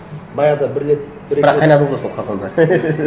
баяғыда бір рет бірақ қайнадыңыз ғой сол қазанда